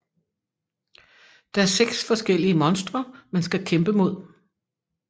Der seks forskellige monstre man skal kæmpe mod